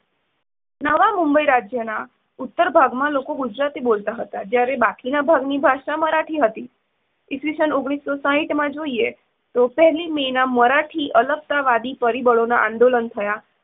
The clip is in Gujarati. નવા મુંબઇ રાજ્યના ઉત્તર ભાગમાં લોકો ગુજરાતી બોલતા હતા, જ્યારે બાકીના ભાગની ભાષા મરાઠી હતી. ઇસવિષન ઓગણીસો સાઠમાં જોઈએ તો પહેલી મેના મરાઠી અલગતાવાદી પરીબળોના આંદોલન થયા.